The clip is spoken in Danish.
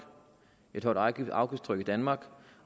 et højt afgiftstryk i danmark